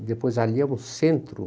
E depois ali é um centro.